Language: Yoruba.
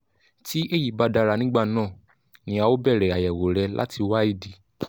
tí èyí bá dára nígbà náà ni a ó bẹ̀rẹ̀ àyẹ̀wò rẹ láti wá ìdí